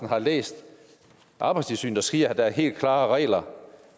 har læst at arbejdstilsynet skriver at der er helt klare regler